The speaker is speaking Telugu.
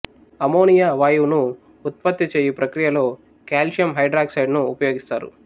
అమ్మోనియా వాయువును ఉత్పత్తి చేయు ప్రక్రియలో కాల్సియం హైడ్రాక్సైడ్ ను ఉపయోగిస్తారు